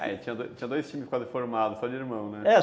Ah, tinha tinha dois times quase formados, só de irmão, né? É.